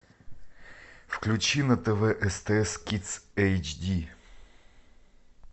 включи на тв стс кидс эйч ди